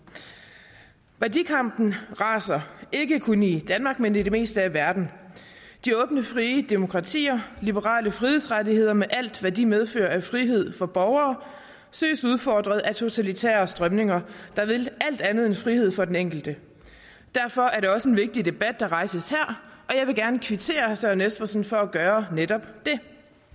værdikampen raser ikke kun i danmark men i det meste af verden de åbne frie demokratier liberale frihedsrettigheder med alt hvad de medfører af frihed for borgere søges udfordret af totalitære strømninger der vil alt andet end frihed for den enkelte derfor er det også en vigtig debat der rejses her og jeg vil gerne kvittere herre søren espersen for at gøre netop det